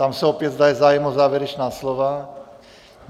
Ptám se opět, zda je zájem o závěrečná slova.